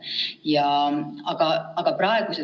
Kahjuks seletuskiri ei anna ammendavat vastust sellele küsimusele.